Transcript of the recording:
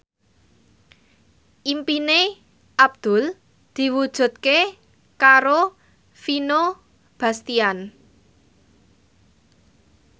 impine Abdul diwujudke karo Vino Bastian